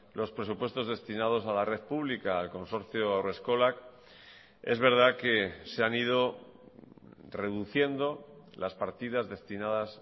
los presupuestos destinados a la red pública al consorcio haurreskolak es verdad que se han ido reduciendo las partidas destinadas